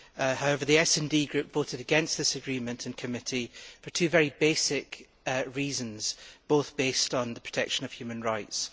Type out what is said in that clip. However, the SD voted against this agreement in committee for two very basic reasons, both based on the protection of human rights.